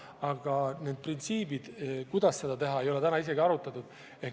Aga neid printsiipe, kuidas seda teha, ei ole seni isegi mitte arutatud.